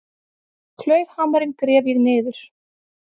Klaufhamarinn gref ég niður.